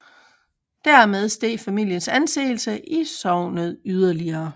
Dermed steg familiens anseelse i sognet yderligere